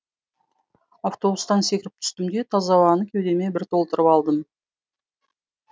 автобустан секіріп түстім де таза ауаны кеудеме бір толтырып алдым